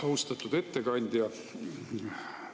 Austatud ettekandja!